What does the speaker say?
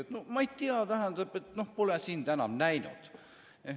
Tema: ma ei tea, tähendab, pole sind enam näinud.